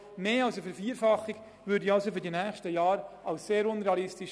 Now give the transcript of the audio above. Eine Vervierfachung erachte ich in den nächsten Jahren als sehr unrealistisch.